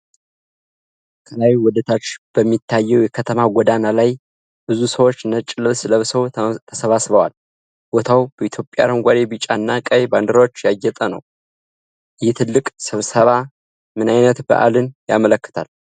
ከላይ ወደታች በሚታየው የከተማ ጎዳና ላይ ብዙ ሰዎች ነጭ ልብስ ለብሰው ተሰብስበዋል። ቦታው በኢትዮጵያ አረንጓዴ፣ ቢጫ እና ቀይ ባንዲራዎች ያጌጠ ነው። ይህ ትልቅ ስብሰባ ምን አይነት በዓልን ያመለክታል?